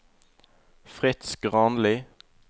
Fritz Granli